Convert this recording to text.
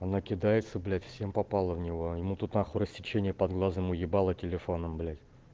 она кидается блять всем попало в него ему тут нахуй рассечение под глазом уебала телефоном блять